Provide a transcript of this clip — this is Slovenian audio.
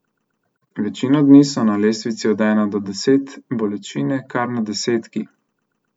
Večino dni so na lestvici od ena do deset bolečine kar na desetki.